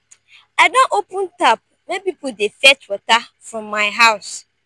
i don open tap make pipo dey fetch water from my house.